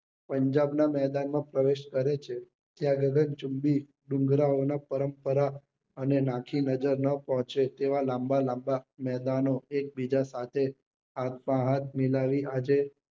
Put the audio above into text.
પંજાબ ના મેદાન માં પ્રવેશ કરે છે ત્યારે ડુંગરા ઓ ના પરંપરા અને નાખી નજર નાં પહોંચે તેવા લાંબા લાંબા મેદાન ઓ એક બીજા સાથે હાથ માં હાથ મિલાવી આજે